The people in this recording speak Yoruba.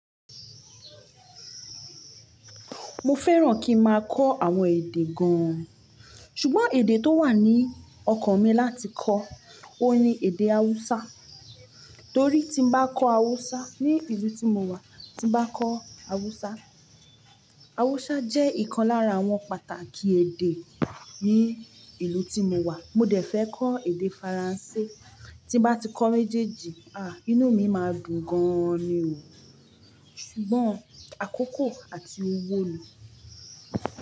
Mo fẹ́ràn kí n máa kọ́ àwọn èdè gan-an. Ṣùgbọ́n èdè tó wà ní ọkàn mi láti kọ́, óun ní èdè Hausa. Torí tí mo bá kọ́ Hausa ní ìlú tí mo wà, tí mo bá kọ́ Hausa. Hausa jẹ́ ìkan lára àwọn pàtàkì èdè ní ìlú tí mo wà. Mo dẹ̀ fẹ́ kọ́ èdè Faransé. Tí mo bá ti kọ́ méjèèjì, àá, inú mi máa dùn gan-an ni o. Ṣùgbọ́n àkókò àti owó ni.